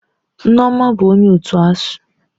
Nneoma bụ onye otu ASUU.